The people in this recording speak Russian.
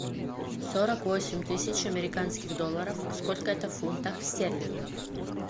сорок восемь тысяч американских долларов сколько это в фунтах стерлингов